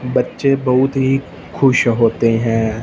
बच्चे बहोत ही खुश होते हैं।